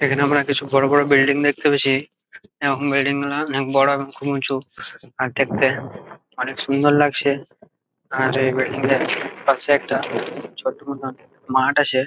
এখানে আমরা কিছু বড়ো বড়ো বিল্ডিং দেখতে পেয়েছি | এরকম বিল্ডিং অনেক বড়ো এবং খুব উঁচু | আর দেখতে অনেক সুন্দর লাগছে | আর এই বিল্ডিং -টার পাশে একটা ছোট মতোন মাঠ আছে।